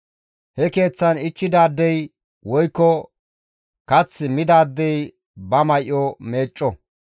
He keeththan ichchidaadey woykko kath midaadey ba may7o meecco.